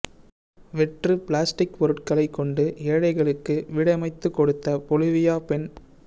வெற்று பிளாஸ்டிக் பொருட்களை கொண்டு ஏழைகளுக்கு வீடமைத்துக் கொடுத்த பொலிவியா பெண்